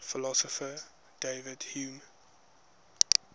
philosopher david hume